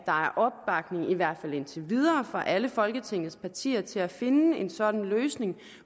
opbakning i hvert fald indtil videre fra alle folketingets partier til at finde en sådan løsning